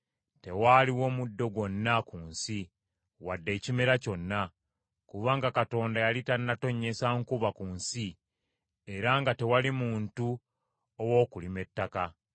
Tewaaliwo muddo gwonna ku nsi wadde ekimera kyonna, kubanga Mukama Katonda yali tannatonnyesa nkuba ku nsi era nga tewali muntu ow’okulima ettaka.